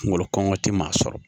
Kungolo kɔngɔ tɛ maa sɔrɔ